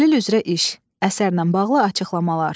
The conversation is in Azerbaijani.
Təhlil üzrə iş, əsərlə bağlı açıqlamalar.